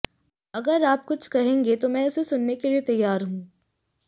अगर आप कुछ कहेंगे तो मैं उसे सुनने के लिए तैयार हूं